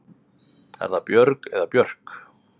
Er það Björg eða Björk?